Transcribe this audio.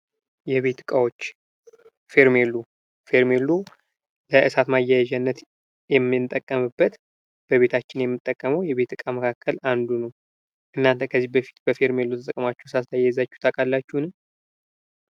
የቤት ዕቃዎች ፌር ሜድሎ ፌርሜላሎ ለእሳት ማያዣነት የምንጠቀምበት በቤታችን የቤት እቃ መካከል አንዱ ነው። እናንተ ከዚህ በፊት በፌርሜሎ ተጠቅማቹ እሳት አያይዛችሁ ታውቃላችሁን?